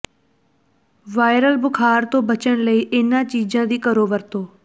viral ਬੁਖ਼ਾਰ ਤੋਂ ਬਚਣ ਲਈ ਇਨ੍ਹਾਂ ਚੀਜ਼ਾਂ ਦੀ ਕਰੋ ਵਰਤੋਂ